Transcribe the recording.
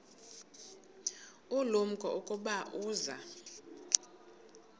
ulumko ukuba uza